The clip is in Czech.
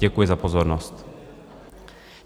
Děkuji za pozornost.